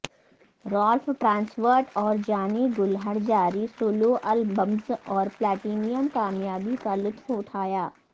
Ralph Tresvant اور Johnny Gill ہر جاری سولو البمز اور پلاٹینم کامیابی کا لطف اٹھایا